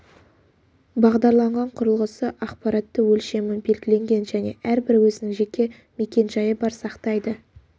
бағдарланған құрылғысы ақпаратты өлшемі белгіленген және әрбір өзінің жеке мекен-жайы бар сақтайды